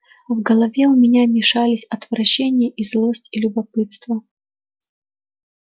в голове у меня мешались отвращение и злость и любопытство